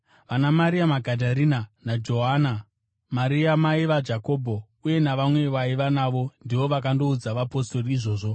VanaMaria Magadharena, naJohana, Maria mai vaJakobho, uye navamwe vavaiva navo ndivo vakandoudza vapostori izvozvo.